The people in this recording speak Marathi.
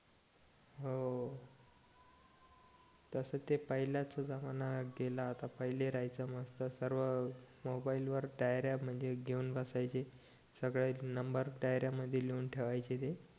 हो तस ते पहिलेच जमाना गेला आता पहिले राहायच्या मस्त सर्व मोबाईल वर सर्व डायऱ्या घेऊन बसायचे सगळे नंबर डायऱ्या मधी लिहून ठेवायचे ते